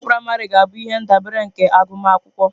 Ụlọ akwụkwọ praịmarị ga-abụ ihe ndabere nke agụmakwụkwọ.